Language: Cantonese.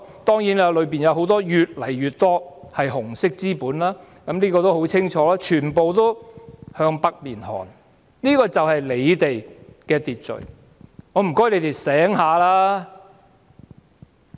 當然，當中越來越多是紅色資本，這是已經很清楚的，全部也要向北面看，這便是政府的秩序。